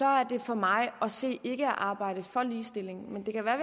er det for mig at se ikke at arbejde for ligestilling men det kan være at